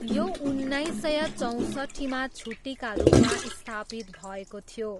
यो उन्नाइस सय चौँसट्ठीमा छुट्टीका रूपमा स्थापित भएको थियो।